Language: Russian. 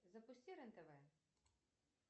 запусти рен тв